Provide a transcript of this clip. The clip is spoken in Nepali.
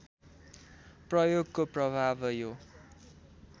प्रयोगको प्रभाव यो